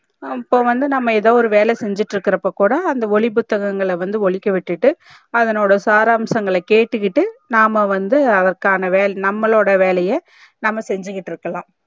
இப்போ வந்து நம்ப ஏதோ வேலை செஞ்சிட்டு இருக்ரப்போ கூட அந்த ஒலி புத்தகங்கல ஒலிக்க விட்டுகிட்டு அதனோட சாராம்சங்கள் ல கேட்டுகிட்டு நாம வந்து அதற்கான நம்பலோட வேலைய நம்ப செஞ்சிகிட்டு இருக்கலாம்